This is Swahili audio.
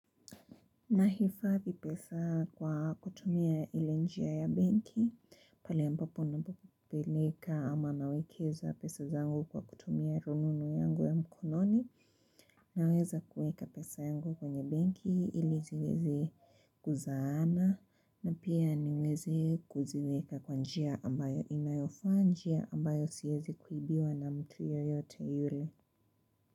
Nahifadhi pesa kwa kutumia ile njia ya benki, pale ambapo napopeleka ama nawekeza pesa zangu kwa kutumia rununu yangu ya mkononi naweza kuweka pesa yangu kwenye benki ili ziweze kuzaana na pia niweze kuziweka kwa njia ambayo inayofaa njia ambayo siezi kuibiwa na mtu yoyote yule.